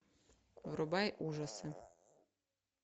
врубай ужасы